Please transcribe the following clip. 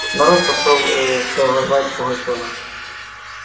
народ пошёл ээ провожать пугачёва